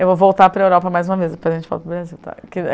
Eu vou voltar para a Europa mais uma vez, depois a gente volta para o Brasil, tá?